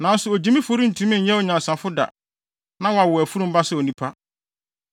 Nanso ogyimifo rentumi nyɛ onyansafo da na wɔawo afurum ba sɛ onipa.